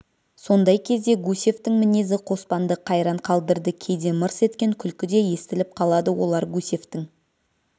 сондай кезде гусевтың мінезі қоспанды қайран қалдырды кейде мырс еткен күлкі де естіліп қалады олар гусевтың